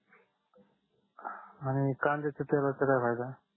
आणि कांद्याच्या तेलाचा काय फायदा